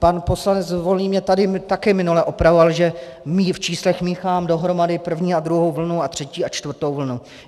Pan poslanec Volný mě tady také minule opravoval, že v číslech míchám dohromady první a druhou vlnu a třetí a čtvrtou vlnu.